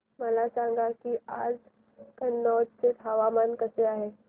मला सांगा की आज कनौज चे हवामान कसे आहे